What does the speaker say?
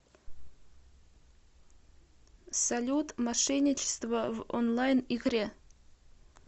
салют мошенничество в онлайн игре